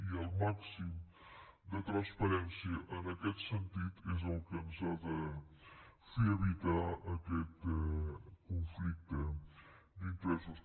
i el màxim de transparència en aquest sentit és el que ens ha de fer evitar aquest conflicte d’interessos